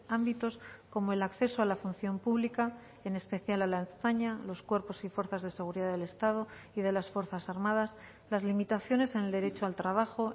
ámbitos como el acceso a la función pública en especial a la ertzaina los cuerpos y fuerzas de seguridad del estado y de las fuerzas armadas las limitaciones en el derecho al trabajo